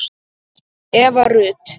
Eva Rut